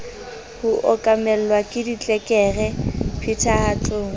ho okamelwa ke ditlelereke phethahatsong